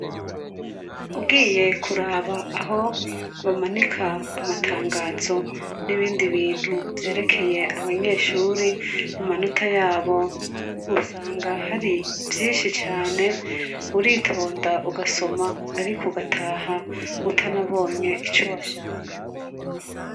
Ugiye kuraba aho bamanika amatangazo n'ibindi bintu vyerekeye abanyeshuri amanota yabo, usanga hari vyinshi cane, uritonda ugasoma, ariko ugataha utanabonye ico washaka.